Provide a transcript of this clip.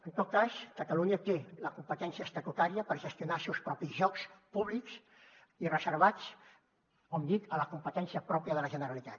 en tot cas catalunya té la competència estatutària per gestionar els seus propis jocs públics i reservats com dic a la competència pròpia de la generalitat